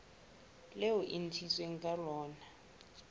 leo e ntshitsweng ka lona